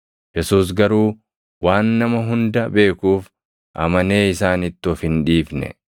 Yesuus garuu waan nama hunda beekuuf, amanee isaanitti of hin dhiifne.